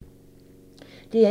DR1